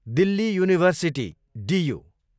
Delhi university, डियु